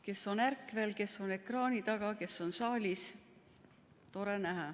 Kes on ärkvel, kes on ekraani taga, kes on saalis – tore näha.